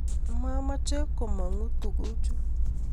mamoche komongu tuguu chuu.